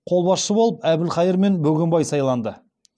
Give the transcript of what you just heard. қолбасшы болып әбілхайыр мен бөгенбай сайланды